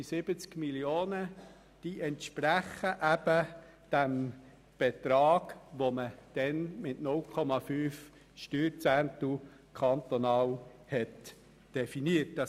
Die 70 Mio. Franken entsprechen dem damals mit 0,5 Steuerzehnteln kantonal definierten Betrag.